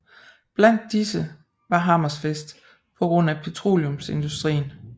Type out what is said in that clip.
Blandt disse var Hammerfest på grund af petroleumsindustrien